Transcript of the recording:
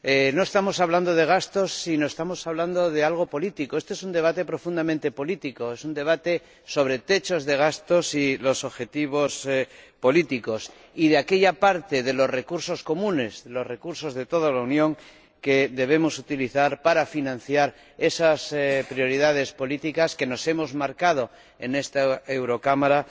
No estamos hablando de gastos, sino que estamos hablando de algo político. Este es un debate profundamente político, es un debate sobre techos de gastos y objetivos políticos, y de aquella parte de los recursos comunes de los recursos de toda la Unión que debemos utilizar para financiar esas prioridades políticas que nos hemos marcado en esta Eurocámara